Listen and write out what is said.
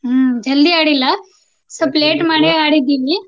ಹ್ಮ್ ಜಲ್ದಿ ಆಡಿಲ್ಲಾ ಸ್ವಲ್ಪ late ಮಾಡಿ ಆಡಿದ್ವಿ.